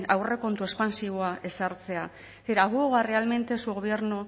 aurrekontu espantsiboak ezartzea aboga realmente su gobierno